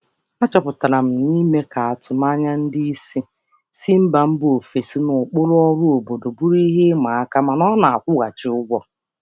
Achọpụtara m na ịhazi atụmanya ndị oga si mba ọzọ na ụkpụrụ ọrụ obodo siri ike mana ọ na-akwụ ụgwọ.